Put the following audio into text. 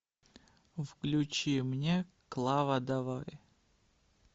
включи мне клава давай